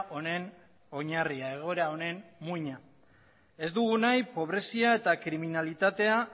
honen oinarria egoera honen muina ez dugu nahi pobrezia eta kriminalidadea